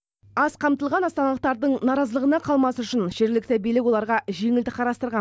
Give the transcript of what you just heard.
аз қамтылған астаналықтардың наразылығына қалмас үшін жергілікті билік оларға жеңілдік қарастырған